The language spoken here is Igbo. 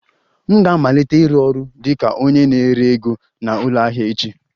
M ga-amalite ịrụ ọrụ dị ka onye na-ere ego na ụlọ ahịa echi